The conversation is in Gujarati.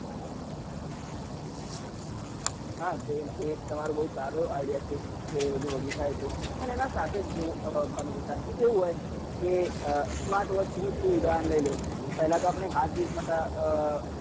હા એ એ તમારો બહુ સારો idea છે કે એ બધું વગી થાય તો પણ એના સાથે જો અ ભાનુપ્રતાપ કે કેવું હોય કે અ smart watch નું તું ઉદાહરણ લઇલે પહેલા તો આપડે heart beat માટે